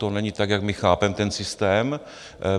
To není tak, jak my chápeme ten systém.